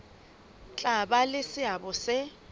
tla ba le seabo se